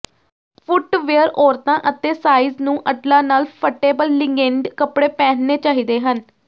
footwear ਔਰਤਾਂ ਅਤੇ size ਨੂੰ ਅਟਲਾਂ ਨਾਲ ਫਟੇਬਲ ਲਿਗੇਨਡ ਕੱਪੜੇ ਪਹਿਨਣੇ ਚਾਹੀਦੇ ਹਨ